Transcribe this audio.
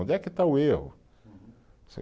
Onde é que está o erro? Você